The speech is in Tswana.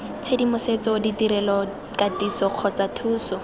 tshedimosetso ditirelo katiso kgotsa thuso